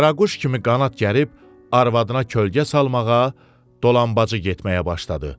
Qaraquş kimi qanad gərib arvadına kölgə salmağa, dolambac getməyə başladı.